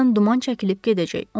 Birazdan duman çəkilib gedəcək.